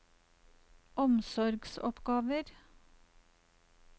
omsorgsoppgaver